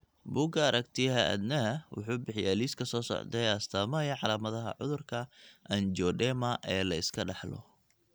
bugga aragtiyaha aanadanaha wuxuu bixiyaa liiska soo socda ee astamaha iyo calaamadaha cudurka anjioedema ee la iska dhaxlo.